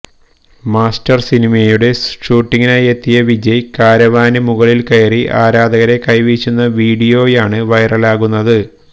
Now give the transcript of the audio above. master സിനിമയുടെ ഷൂട്ടിംഗിനായി എത്തിയ വിജയ് കാരവാനിന് മുകളില് കയറി ആരാധകരെ കൈവീശുന്ന വീഡിയോയാണ് വൈറലാകുന്നത്